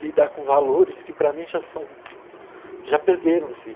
Lidar com valores que para mim já são... já perderam-se.